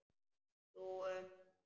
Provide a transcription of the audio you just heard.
Þú um það.